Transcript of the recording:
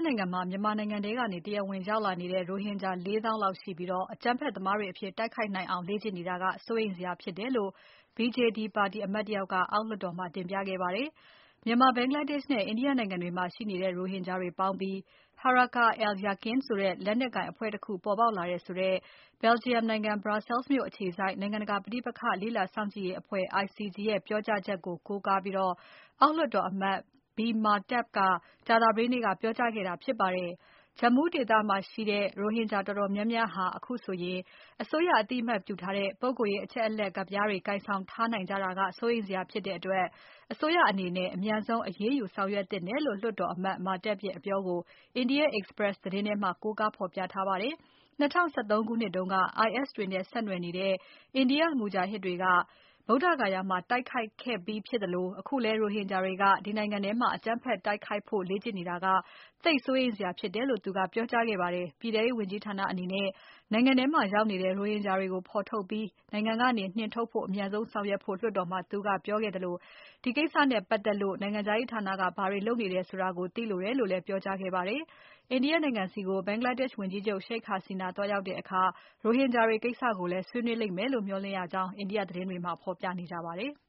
နိုင်ငံမှာ မြန်မာနိုင်ငံထဲကနေ တရားမဝင် ဝင်ရောက်လာတဲ့ရိုဟင်ဂျာ ၄ သောင်းလောက်ရှိပြီး အကြမ်းဖက်သမားတွေအဖြစ်တိုက်ခိုက်နိုင်အောင် လေ့ကျင့်နေကြတာက စိုးရိမ်စရာဖြစ်တယ်လို့ BJD ပါတီအမတ်တယောက်က အောက်လွှတ်တော်မှာ တင်ပြခဲ့ပါတယ်။ မြန်မာ၊ ဘင်္ဂလားဒေရှ့်နဲ့ India နိုင်ငံတွေမှာရှိနေတဲ့ ရိုဟင်ဂျာတွေပေါင်းပြီး Harakah al-Yaqin ဆိုတဲ့လက်နက်ကိုင်အဖွဲ့တခုပေါ်ပေါက်လာတယ်ဆိုတဲ့ Belgium နိုင်ငံ Brussels မြို့အခြေစိုက် နိုင်ငံတကာ ပဋိပက္ခလေ့လာစောင့်ကြည့်ရေးအဖွဲ့ ICG ရဲ့ပြောကြားချက်ကို ကိုးကားပြီး အောက်လွှတ်တော်အမတ် B Mahtab က ကြာသပတေးနေ့က ပြောကြားခဲ့တာဖြစ်ပါတယ်။ Jammu ဒေသမှာရှိနေကြတဲ့ ရိုဟင်ဂျာတော်တော်များများဟာ အခုဆိုရင် အစိုးရအသိအမှတ်ပြုထားတဲ့ ပုဂ္ဂိုလ်ရေးအချက်အလက်ကဒ်ပြားတွေ ကိုင်ဆောင်ထားနိုင်ကြတာက စိုးရိမ်စရာဖြစ်တဲ့အတွက် အစိုးရအနေနဲ့ အမြန်ဆုံး အရေးယူ ဆောင်ရွက်သင့်တယ်လို့ လွှတ်တော်အမတ် Mahtab ရဲ့အပြောကို India Express သတင်းထဲမှာ ကိုးကားဖော်ပြထားပါတယ်။ ၂၀၁၃ ခုနှစ်တုန်းက IS တွေနဲ့ ဆက်နွယ်နေတဲ့ India မူဂျာဟစ်တွေက ဗုဒ္ဓဂါယာမှာ တိုက်ခိုက်ခဲ့ပြီးဖြစ်သလို အခုလည်း ရိုဟင်ဂျာတွေက ဒီနိုင်ငံထဲမှာ အကြမ်းဖက်တိုက်ခိုက်ဖို့ လေ့ကျင့်နေတာက သိပ်စိုးရိမ်စရာဖြစ်တယ်လို့ သူကပြောကြားခဲ့တာဖြစ်ပါတယ်။ ပြည်ထဲရေးဝန်ကြီးဌာနအနေနဲ့ နိုင်ငံထဲမှာရောက်နေတဲ့ ရိုဟင်ဂျာတွေကိုဖော်ထုတ်ပြီး နိုင်ငံထဲကနေ နှင်ထုတ်နိုင်ဖို့ အမြန်ဆုံးဆောင်ရွက်ဖို့ လွှတ်တော်မှာ သူကပြောခဲ့သလို ဒီကိစ္စနဲ့ပါတ်သက်လို့ နိုင်ငံခြားရေးဌာနက ဘာတွေလုပ်နေသလဲဆိုတာကိုလည်း သိလိုတယ်လို့ ပြောကြားခဲ့ပါတယ်။ India နိုင်ငံဆီကို ဘင်္ဂလားဒေရှ့်ဝန်ကြီးချုပ် Sheikh Hasina သွားရောက်တဲ့အခါ ရိုဟင်ဂျာတွေကိစ္စကိုလည်း ဆွေးနွေးလိမ့်မယ်လို့ မျှော်လင့်ရကြောင်း India သတင်းတွေထဲမှာ ဖော်ပြနေကြပါတယ်။